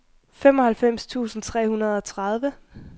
femoghalvfems tusind tre hundrede og tredive